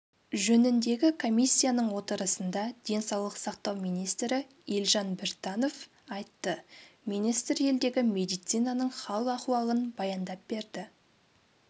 жөніндегі комиссияның отырысында денсаулық сақтау министрі елжан біртанов айтты министр елдегі медицинаның хал-ахуалын баяндап берді